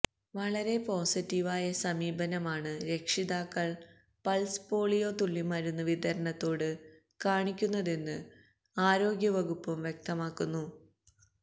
വളരെ പോസിറ്റീവ് ആയ സമീപനമാണ് രക്ഷിതാക്കൾ പൾസ് പോളിയോ തുള്ളിമരുന്ന് വിതരണത്തോട് കാണിക്കുന്നതെന്ന് ആരോഗ്യവകുപ്പും വ്യക്തമാക്കുന്നു